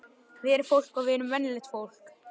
Við erum fólk og við erum venjulegt fólk.